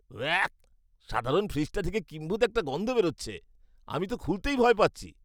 Walk! সাধারণের ফ্রিজটা থেকে কিম্ভূত একটা গন্ধ বেরোচ্ছে। আমি তো খুলতেই ভয় পাচ্ছি।